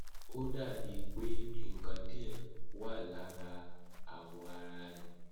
ó dà bíi pé nǹkan díẹ wà lára awọ ara rẹ